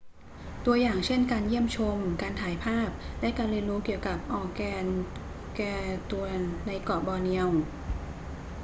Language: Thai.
ตัวอย่างเช่นการเยี่ยมชม การถ่ายภาพ และการเรียนรู้เกี่ยวกับ organgatuangs ในเกาะบอร์เนียว